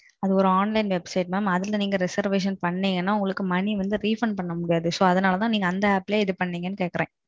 அது ஒரு online website mam. அதுல நீங்க நீங்க reservation பண்ணீங்கனா பணம் வந்து refund பண்ண முடியாது. அதனால தான் அதுல பண்ணீங்களான்னு கேக்குறேன்.